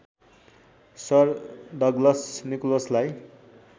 sir Douglas निकोलसलाई